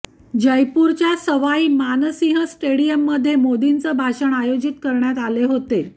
जयपूरच्या सवाई मान सिंह स्टेडिअममध्ये मोदींचे भाषण आयोजित करण्यात आले होते